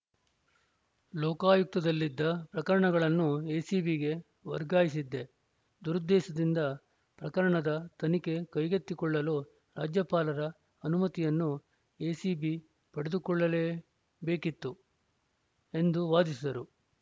ಲೋಕಾಯುಕ್ತದಲ್ಲಿದ್ದ ಪ್ರಕರಣಗಳನ್ನು ಎಸಿಬಿಗೆ ವರ್ಗಾಯಿಸಿದ್ದೇ ದುರುದ್ದೇಶದಿಂದ ಪ್ರಕರಣದ ತನಿಖೆ ಕೈಗೆತ್ತಿಕೊಳ್ಳಲು ರಾಜ್ಯಪಾಲರ ಅನುಮತಿಯನ್ನೂ ಎಸಿಬಿ ಪಡೆದುಕೊಳ್ಳಬೇಕಿತ್ತು ಎಂದು ವಾದಿಸಿದರು